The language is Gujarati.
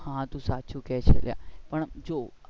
આ વાત તો તું સાચી કે છે પણ જો